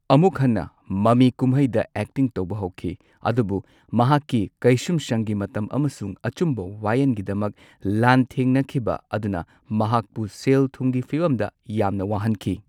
ꯑꯃꯨꯛ ꯍꯟꯅ ꯃꯃꯤꯀꯨꯝꯍꯩꯗ ꯑꯦꯛꯇꯤꯡ ꯇꯧꯕ ꯍꯧꯈꯤ, ꯑꯗꯨꯕꯨ ꯃꯍꯥꯛꯀꯤ ꯀꯩꯁꯨꯝꯁꯪꯒꯤ ꯃꯇꯝ ꯑꯃꯁꯨꯡ ꯑꯆꯨꯝꯕ ꯋꯥꯋꯦꯟꯒꯤꯗꯃꯛ ꯂꯥꯟꯊꯦꯡꯅꯈꯤꯕ ꯑꯗꯨꯅ ꯃꯍꯥꯛꯄꯨ ꯁꯦꯜ ꯊꯨꯝꯒꯤ ꯐꯤꯕꯝꯗ ꯌꯥꯝꯅ ꯋꯥꯍꯟꯈꯤ꯫